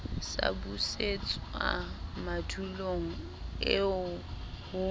sa busetswang madulong eo ho